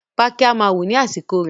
Pákí máa wù ní àsìkò rẹ̀